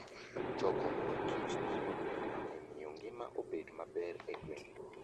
Choko mor kich nyalo konyo e miyo ngima obed maber e gwenge.